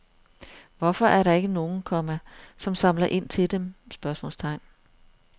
Hvorfor er der ikke nogen, komma som samler ind til dem? spørgsmålstegn